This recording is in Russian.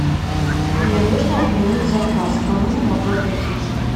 мне нужно отменить заказ к кому я могу обратиться